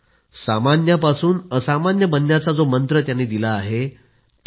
note everyone will excel at school and note everyone will be able to score in the 90s